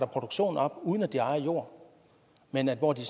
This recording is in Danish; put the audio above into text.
produktion op uden at de ejer jord men hvor de